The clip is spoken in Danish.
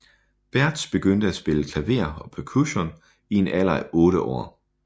Bärtsch begyndte at spille klaver og percussion i en alder af 8 år